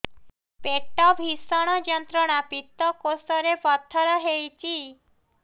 ପେଟ ଭୀଷଣ ଯନ୍ତ୍ରଣା ପିତକୋଷ ରେ ପଥର ହେଇଚି